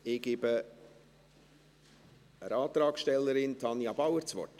Ich gebe der Antragstellerin, Tanja Bauer, das Wort.